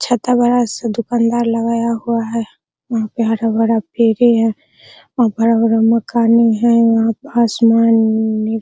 छाता बड़ा सा दूकानदार लगया हुआ है वहां पेड़ बड़ा भीरी है और बड़ा-बड़ा मकान है आसमान में --